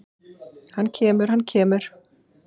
Hann kemur, hann kemur!!